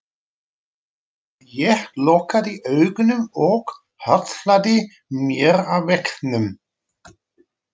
Ég lokaði augunum og hallaði mér að veggnum.